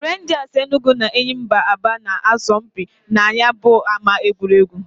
Renjas Enugu na Enyimba Aba na -asọ mpị na ya bu ama egwuregwu.